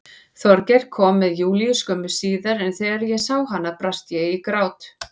Þorgeir kom með Júlíu skömmu síðar en þegar ég sá hana brast ég í grát.